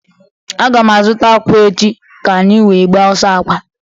A ga m azụta akwa echi ka anyị wee gbaa ọsọ akwa